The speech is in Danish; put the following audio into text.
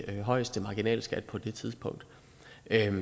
den højeste marginalskat på det tidspunkt